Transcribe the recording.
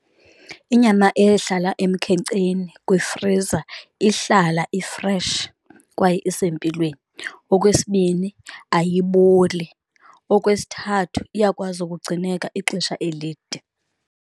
Inyama ehlala emkhenkceni kwifriza ihlala ifreshi kwaye isempilweni. Okwesibini, ayiboli. Okwesithathu, iyakwazi ukugcineka ixesha elide.